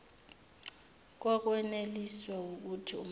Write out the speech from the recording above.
kokweneliswa wukuthi umzali